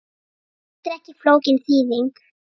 Þetta er ekki flókin þýðing.